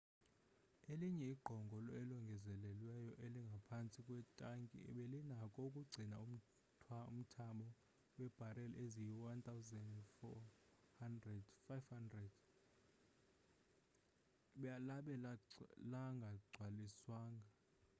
elinye igqongo elongezelelweyo elingaphantsi kwetanki belinako ukugcina umthamo webareli eziyi 104,500 labe lingagcwaliswanga